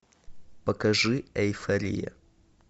покажи эйфория